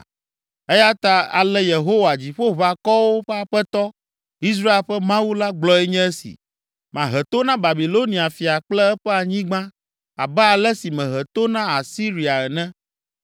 Eya ta ale Yehowa, Dziƒoʋakɔwo ƒe Aƒetɔ, Israel ƒe Mawu la gblɔe nye esi: “Mahe to na Babilonia fia kple eƒe anyigba abe ale si mehe to na Asiria ene.